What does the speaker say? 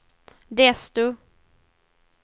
desto